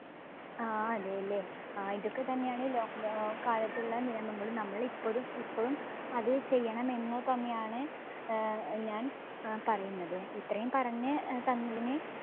ആ അല്ലെ ല്ലേ ഇതൊക്കെത്തന്നെയാണ് lockdown കാലത്തുള്ള നിയമങ്ങൾ നമ്മൾ ഇപ്പൊതും ഇപ്പോഴും അത് ചെയ്യണമെന്ന് തന്നെയാണ് ഏർ ഞാൻ പറയുന്നത്. ഇത്രയും പറഞ് തന്നതിന്